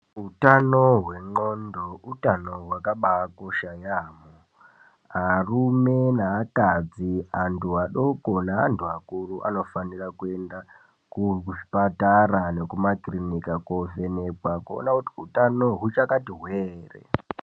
Utano hwendxondo utano hwakabakosha yaamho. Arume, neakadzi antu adoko neantu akuru anofanira kuenda kuzvipatara nekumakirinika koovhenekwa kuona kuti utano huchakati hwee ere?